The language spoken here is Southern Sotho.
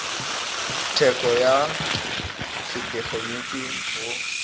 tshetso ya se tegeniki ho